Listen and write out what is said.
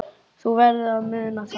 Þú verður að muna það.